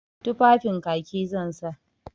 Tufafin Kaki zan sa.